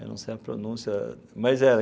Eu não sei a pronúncia, mas era.